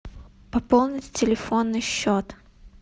пополнить телефонный счет